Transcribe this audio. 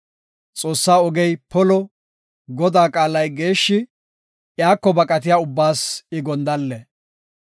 Xoossaa ogey polo; Godaa qaalay geeshshi; iyako baqatiya ubbaas I gondalle.